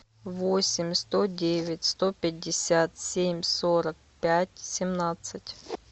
восемь сто девять сто пятьдесят семь сорок пять семнадцать